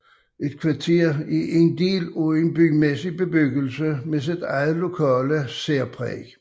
Et kvarter er en del af en bymæssig bebyggelse med sit eget lokale særpræg